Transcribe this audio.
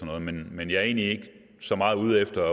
noget men men jeg er egentlig ikke så meget ude efter